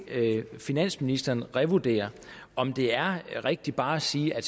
finansministeren revurdere om det er rigtigt bare at sige at